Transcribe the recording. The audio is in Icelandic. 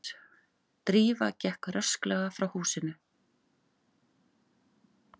Drífa gekk rösklega frá húsinu.